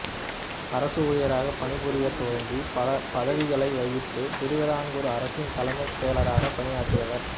அரசு ஊழியராக பணிபுரியத்துவங்கி பல பதவிகளை வகித்து திருவிதாங்கூர் அரசின் தலைமைச் செயலராக பணியாற்றியவர்